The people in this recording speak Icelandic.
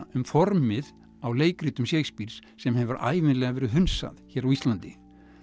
um formið á leikritum Shakespeares sem hefur ævinlega verið hunsað hér á Íslandi